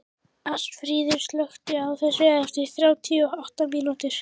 Ásfríður, slökktu á þessu eftir þrjátíu og átta mínútur.